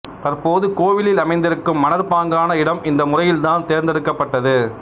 தற்போது கோவில் அமைந்திருக்கும் மணற்பாங்கான இடம் இந்த முறையில் தான் தேர்ந்தெடுக்கப்பட்டது